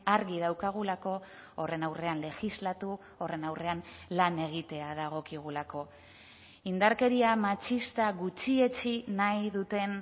argi daukagulako horren aurrean legislatu horren aurrean lan egitea dagokigulako indarkeria matxista gutxietsi nahi duten